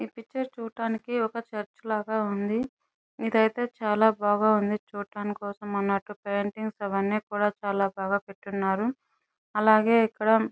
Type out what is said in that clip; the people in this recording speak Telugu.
ఈ పిక్చర్ చుట్టానికి ఒక్క చేర్చి లాగా ఉంది. ఇది ఐతే చాలా బాగా ఉంది చూడటం కోసం అన్నటుగా పెయింటింగా ఇవి అని కోడా చాలా బాగా పేటి ఉన్నారు అలాగేయ్ ఇక్కడ --